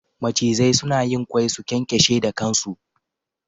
Macizai suna yin ƙwai, su ƙyanƙyashe da ƙan su.